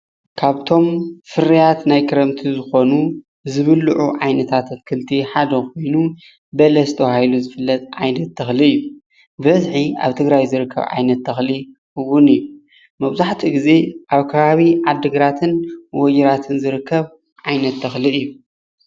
ካብቶም ፍርያት ናይ ክረምቲ ዝኮኑ ዝብልዑ ዓይነታት ኣትክልቲ ሓደ ኮይኑ በለስ ተባሂሉ ዝፍለጥ ዓይነት ተክሊ እዩ። ብበዝሒ ኣብ ትግራይ ዝርከብ ዓይነት ተክሊ እውን እዩ። መብዛሕትኡ ግዜ ኣብ ከባቢ ዓዲግራትን ወጅራትን ዝርከብ ዓይነት ተክሊ እዩ፡፡